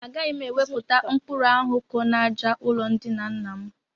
Agaghị m ewepụta mkpuru ahụ ko n'àjà ụlọndina nna m